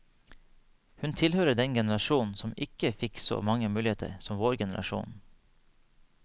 Hun tilhører den generasjon som ikke fikk så mange muligheter som vår generasjon.